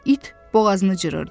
İt boğazını cırırdı.